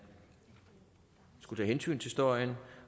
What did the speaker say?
skulle tage hensyn til støjen